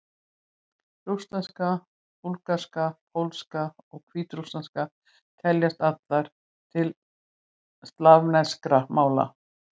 Rússneska, búlgarska, pólska og hvítrússneska teljast allar til slavneskra mála.